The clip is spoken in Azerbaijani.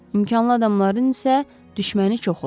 İmkanlı adamların isə düşməni çox olur.